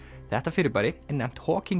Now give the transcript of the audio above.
þetta fyrirbæri er nefnt